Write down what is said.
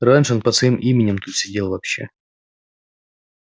раньше он под своим именем тут сидел вообще